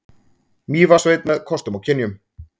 Mývatnssveit með kostum og kynjum.